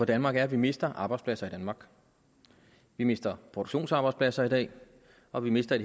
danmark er at vi mister arbejdspladser i danmark vi mister produktionsarbejdspladser i dag og vi mister i